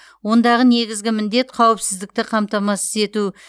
ондағы негізгі міндет қауіпсіздікті қамтамасыз ету